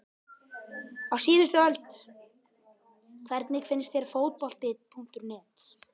Á síðustu öld Hvernig finnst þér Fótbolti.net?